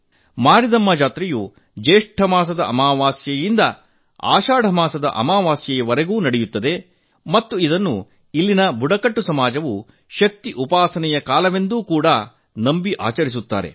ಮಾರಿದಮ್ಮ ಜಾತ್ರೆಯು ಜ್ಯೇಷ್ಠ ಮಾಸದ ಅಮಾವಾಸ್ಯೆಯಿಂದ ಆಷಾಢ ಮಾಸದ ಅಮಾವಾಸ್ಯೆಯವರೆಗೂ ನಡೆಯುತ್ತದೆ ಮತ್ತು ಅದನ್ನು ಅಲ್ಲಿನ ಆದಿವಾಸಿ ಸಮಾಜವು ಶಕ್ತಿ ಉಪಾಸನೆಯ ಕಾಲವೆಂದು ಕೂಡಾ ನಂಬಿ ಆಚರಿಸುತ್ತಾರೆ